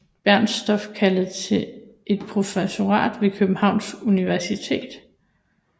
Bernstorff kaldet til et professorat ved Københavns Universitet